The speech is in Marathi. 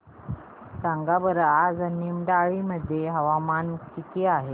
सांगा बरं आज निमडाळे मध्ये तापमान किती आहे